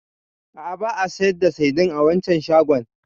A'a, ba a sayar da saidin a waccan shagon.